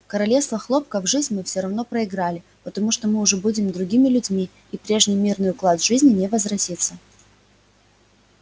королевство хлопка в жизнь мы все равно проиграли потому что мы уже будем другими людьми и прежний мирный уклад жизни не возвратится